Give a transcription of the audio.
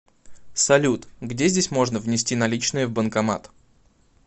салют где здесь можно внести наличные в банкомат